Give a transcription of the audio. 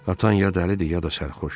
Atan ya dəlidi, ya da sərxoş.